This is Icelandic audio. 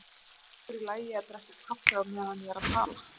Finnst ykkur í lagi að drekka kaffi á meðan ég er að tala?